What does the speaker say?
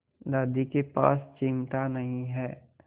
दादी के पास चिमटा नहीं है